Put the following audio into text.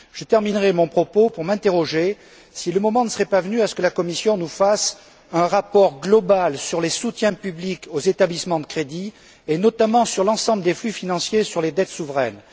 Je terminerai mon propos en me demandant si le moment ne serait pas venu que la Commission nous fasse un rapport global sur les soutiens publics aux établissements de crédit, et notamment sur l'ensemble des flux financiers et sur les dettes souveraines.